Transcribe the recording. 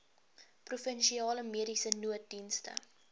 provinsiale mediese nooddienste